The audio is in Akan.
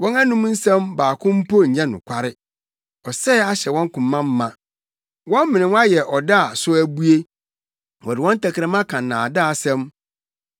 Wɔn anom asɛm baako mpo nyɛ nokware; ɔsɛe ahyɛ wɔn koma ma. Wɔn menewa yɛ ɔda a so abue wɔde wɔn tɛkrɛma ka nnaadaasɛm.